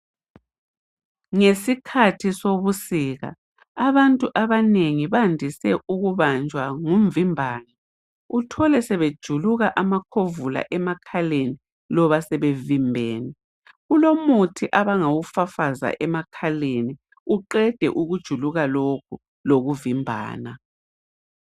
Ngesikathi sobusika abantu abanengi bandise ukubanjwa ngumvimbano uthole sebejuluka amakhovula emakhaleni loba sebevimbene, kulomuthi abangawu fafaza emakhaleni uqede ukujuluka lokhu lokuvimbana.